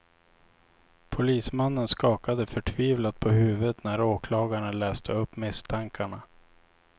Polismannen skakade förtvivlat på huvudet när åklagaren läste upp misstankarna.